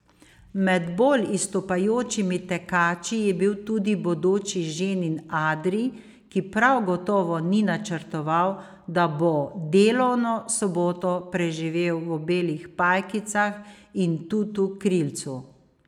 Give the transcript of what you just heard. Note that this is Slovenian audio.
Med bolj izstopajočimi tekači je bil tudi bodoči ženin Adri, ki prav gotovo ni načrtoval, da bo delovno soboto preživel v belih pajkicah in tutu krilcu.